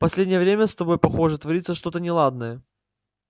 последнее время с тобой похоже творится что-то неладное